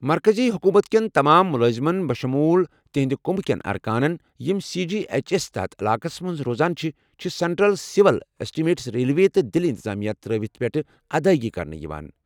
مرکزی حکومت کین تمام مٗلٲزِمن بشموُل تہنٛدِ كٗمبٕہٕ كین اركانن یِم سی جی ایچ ایسس تحت علاقَس مَنٛز روزان چھِ ، چھِٗ سینٹرل سِول ایسٹِمیٹس ریلوے تہٕ دِلہِ انتظامیہ ترٲوِتھ پٮ۪ٹھ ادایگی کرنہٕ یوان